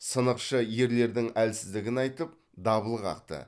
сынықшы ерлердің әлсіздігін айтып дабыл қақты